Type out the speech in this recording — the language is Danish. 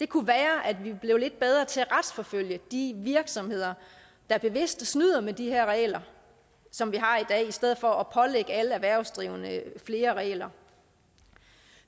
kunne være at vi blev lidt bedre til at retsforfølge de virksomheder der bevidst snyder med de regler som vi har i dag i stedet for at pålægge alle erhvervsdrivende flere regler